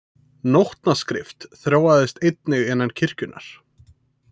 Nótnaskrift þróaðist einnig innan kirkjunnar.